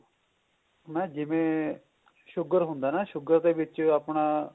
ਮੈਂ ਜਿਵੇਂ sugar ਹੁੰਦਾ ਨਾ sugar ਦੇ ਵਿੱਚ ਆਪਣਾ